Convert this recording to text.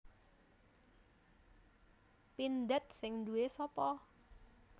Pindad sing nduwe sopo?